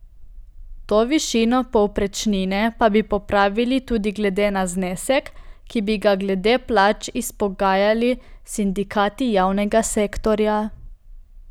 To višino povprečnine pa bi popravili tudi glede na znesek, ki bi ga glede plač izpogajali s sindikati javnega sektorja.